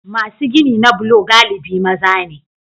Masu gini na bulo galibi maza ne.